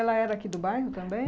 Ela era aqui do bairro também?